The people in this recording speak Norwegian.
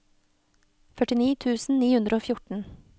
førtini tusen ni hundre og fjorten